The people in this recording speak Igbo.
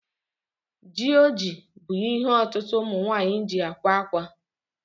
Jioji bú ihe ọtụtụ ụmụnwaanyi ji ákwà akwa